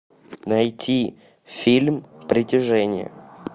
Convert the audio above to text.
найти фильм притяжение